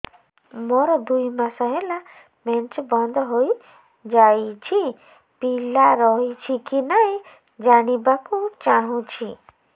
ମୋର ଦୁଇ ମାସ ହେଲା ମେନ୍ସ ବନ୍ଦ ହେଇ ଯାଇଛି ପିଲା ରହିଛି କି ନାହିଁ ଜାଣିବା କୁ ଚାହୁଁଛି